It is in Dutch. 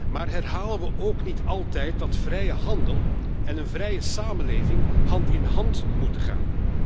Maar herhalen we ook niet altijd dat vrije handel en een vrije samenleving hand in hand moeten gaan?